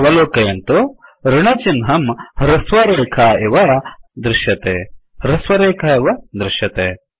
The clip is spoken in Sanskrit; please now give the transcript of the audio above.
अवलोकयन्तु ऋणचिह्नं हृस्वरेखा इव दृश्यते160 हृस्वरेखा इव दृश्यते